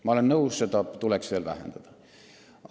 Ma olen nõus, seda tuleks veel vähendada.